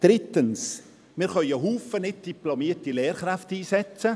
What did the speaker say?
» Drittens: Wir können einen Haufen nicht diplomierter Lehrkräfte einsetzen.